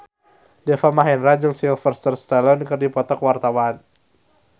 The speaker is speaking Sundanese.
Deva Mahendra jeung Sylvester Stallone keur dipoto ku wartawan